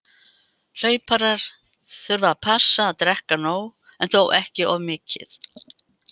Hlauparar þurfa að passa að drekka nóg- en þó ekki of mikið.